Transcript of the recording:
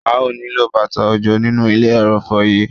A ó nílò bàtà òjò nínú ilẹ̀ ẹrọ̀fọ̀ yí.